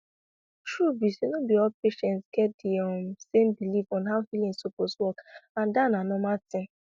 truth be say no be all patients get di um same belief on how healing suppose work and dat na normal thing